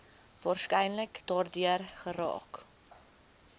waarskynlik daardeur geraak